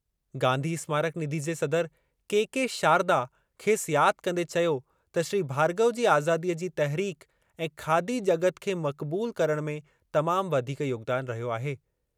गांधी स्मारक निधि जे सदरु के के शारदा खेसि यादि कंदे चयो त श्री भार्गव जी आज़ादीअ जी तहरीक ऐं खादी जग॒त खे मक़बूल करणु में तमाम वधीक योगदान रहियो आहे।